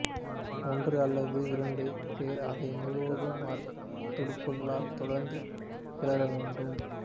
ஒன்று அல்லது இரண்டு பேர் அதை முழுவதும் மரத் துடுப்புகளால் தொடர்ந்து கிளற வேண்டும்